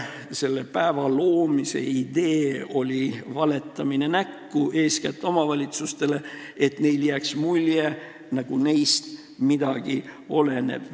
Selle päeva loomise idee oli näkku valetamine eeskätt omavalitsustele, et neile jääks mulje, nagu neist midagi oleneb.